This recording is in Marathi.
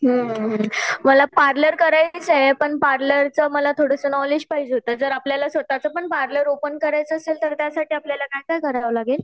हुं मला पार्लर करायचं आहे पण पार्लरचं मला थोडंसं नॉलेज पाहिजे होतं जर आपल्याला स्वतःचं पण पार्लर ओपन करायचं असेल तर त्यासाठी काय काय करावं लागेल?